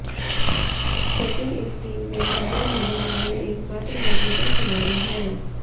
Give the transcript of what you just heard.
सचिन इस टीम में शामिल होने वाले एकमात्र मौजूदा खिलाड़ी हैं